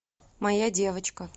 моя девочка